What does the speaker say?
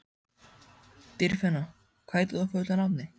Dýrfinna, hvað heitir þú fullu nafni?